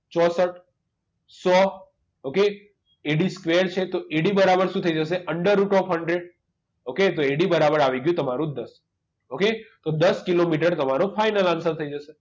ચોસઠ સો okayADsquare છે તો AD બરાબર શું થઈ જશે under route of hundred ok તો AD બરાબર આવી ગયું તમારું દસ okay તો દસ કિલોમીટર તમારો final answer થઈ જશે